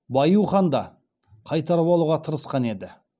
баиу хан да қайтарып алуға тырысқан еді